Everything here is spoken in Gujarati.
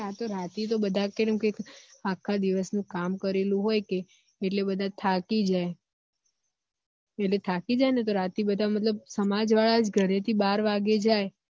આ તો રાતે તો બધા તો આખા દિવેસ નું કામ કરેલુ હોય કે એટલે બધા થાકી જાય એટલે થાકી જાયે ને તો રાતે મતલબ બધા સમાજવાળા જ ઘર થી બાર વાગે જાયે